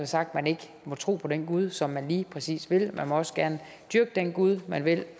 sagt at man ikke må tro på den gud som man lige præcis vil og man må også gerne dyrke den gud man vil